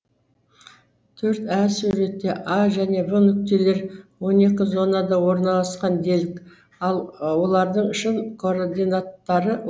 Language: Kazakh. төрт ә суретте а және в нүктелері он екі зонада орналасқан делік ал олардың шын координаттары